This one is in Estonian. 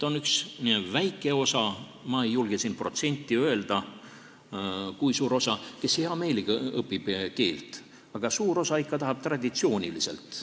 On üks väike osa – ma ei julge protsenti öelda, kui suur osa see on –, kes heameelega õpib, aga suur osa tahab õppida ikka traditsiooniliselt.